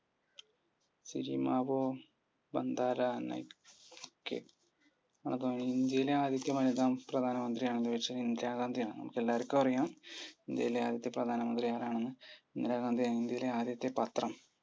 സുചിമാരോ ബന്താരോ കെ അതാണ് ഇന്ത്യയിലെ ആദ്യ വനിത പ്രധാമന്ത്രി ആരെന്നു ചോദിച്ചാൽ ഇന്ദിരഗാന്ധിയാണ്. നമുക്ക് എല്ലാർക്കും അറിയാം ഇനിത്യയിലെ ആദ്യത്തെ പ്രധാനമന്ത്രി ആരാണെന്നു ഇന്ദിരാഗാന്ധിയാണ്‌. ഇന്ത്യയിലെ ആദ്യത്തെ പത്രം?